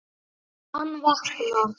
Hann vaknar.